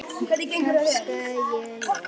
tafsa ég loks.